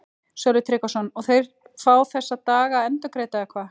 Sölvi Tryggvason: Og þeir fá þessa daga endurgreidda eða hvað?